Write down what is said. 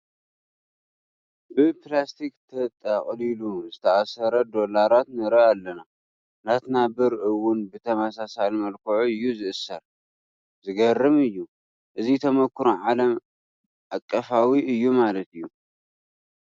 ብፕላስቲክ ተጠቕሊሉ ዝተኣሰረ ዶላራት ንርኢ ኣለና፡፡ ናትና ብር እውን ብተመሳሳሊ መልክዑ እዩ ዝእሰር፡፡ ዝገርም፡፡ እዚ ተመኩሮ ዓለም ኣቀፋዊ እዩ ማለት እዩ፡፡